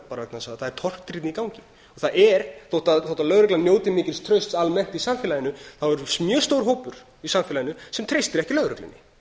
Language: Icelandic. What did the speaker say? bara vegna þess að það er tortryggni í gangi það er þótt lögreglan njóti mikils trausts almennt í samfélaginu þá er mjög stór hópur í samfélaginu sem treystir ekki lögreglunni